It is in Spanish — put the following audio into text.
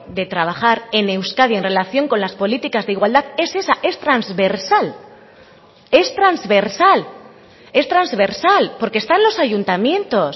de trabajar en euskadi en relación con las políticas de igualdad es esa es transversal es transversal es transversal porque están los ayuntamientos